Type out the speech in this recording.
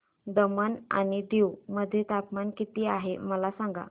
दमण आणि दीव मध्ये तापमान किती आहे मला सांगा